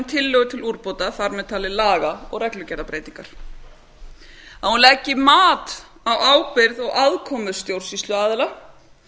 tillögu til úrbóta þar með talið laga og reglugerðarbreytingar að hún leggi mat á ábyrgð og afkomu stjórnsýsluaðila